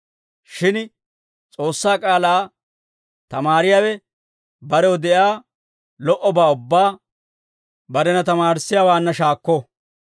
Shin S'oossaa k'aalaa tamaariyaawe barew de'iyaa lo"obaa ubbaa barena tamaarissiyaawaanna shaakko.